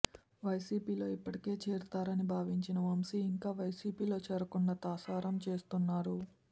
వైసీపీలో ఇప్పటికే చేరతారని భావించిన వంశీ ఇంకా వైసీపీలో చేరకుండా తాసారం చేస్తున్నారు